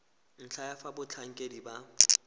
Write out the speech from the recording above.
ntlha ya fa batlhankedi ba